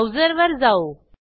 browser वर जाऊ